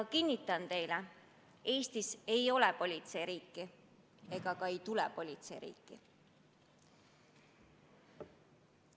Kinnitan teile, et Eesti ei ole politseiriik ega saa selleks.